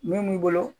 Min b'i bolo